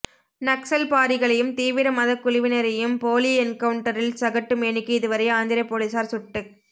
நக்சல்பாரிகளையும் தீவிர மதக் குழுவினரையும் போலி என்கவுன்டரில் சகட்டுமேனிக்கு இதுவரை ஆந்திர போலீஸார் சுட்டுக்